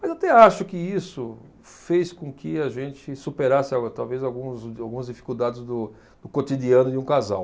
Mas até acho que isso fez com que a gente superasse algu, talvez alguns, algumas dificuldades do cotidiano de um casal.